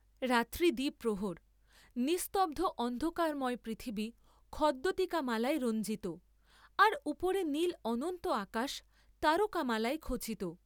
রাত্রি দ্বিপ্রহর, নিস্তব্ধ অন্ধকারময় পৃথিবী খদ্যোতিকামালায় রঞ্জিত, আর উপরে নীল অনন্ত আকাশ তারকামালায় খচিত।